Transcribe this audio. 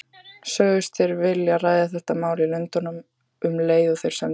Sögðust þeir vilja ræða þetta mál í Lundúnum, um leið og þeir semdu við